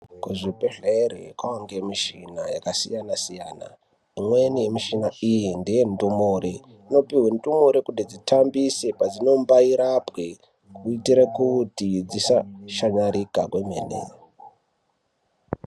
Ku zvibhedhlere kwange mishina yaka siayana siyana imweni ye mishina iyi ndeye ndumure ino pihwe ndumure kuti dzitambise padzino mbai rapwe kuitire kuti dzisa shamarika kwemene.